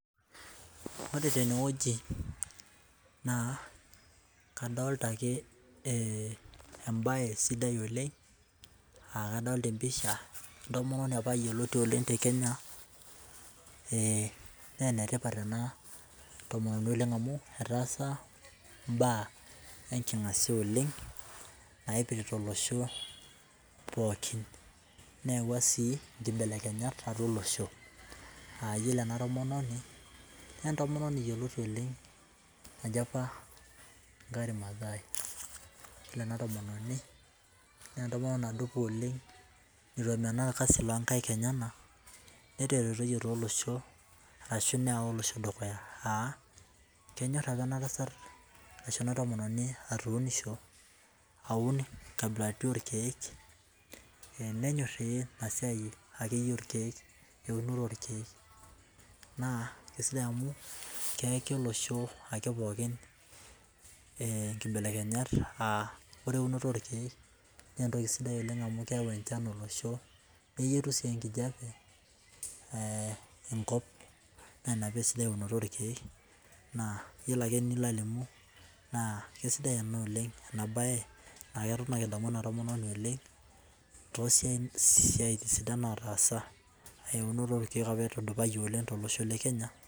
Wore tenewoji naa kadoolta ake embae sidai oleng', aa kadoolta empisha entomononi apa yioloti oleng' tekenya. Naa enetipat oleng' ena tomononi amu, etaasa imbaa enkingasia oleng', naipirta olosho pookin. Neyawua sii inkibelekenyat atua olosho. Aa yiolo ena tomononi, naa entomononi yioloti oleng' naji apa Wangare Mathai. Yiolo ena tomononi naa entomononi nadupa oleng' neitu emenaa orkasi loonkaik enyanak, neteretoyie tooloshon arashu neewa olosho dukuya, aa kenyor apa enatasat ashu ena tomononi atuunisho aun inkabilaritin orkiek. Nenyor inasiai akeyie orkiek, eunoto orkiek. Naa aisidai amu keeki olosho pookin inkibelekenyat aa wore eunoto orkiek naa entoki sidai amu keau enchan olosho neyietu sii enkijape enkop, naa inia paasidai eunoto orkiek, naa yiolo ake enilo alimu naa kaisidai ena oleng', ena baye, aketon naa kidamu ena tomononi oleng', toosiatin sidai naataasa, eunoto orkiek apa etudupayie oleng' tolosho le Kenya